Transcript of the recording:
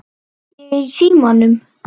Ég er í símanum